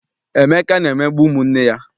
Emeka na-emegbu ụmụ nne ya.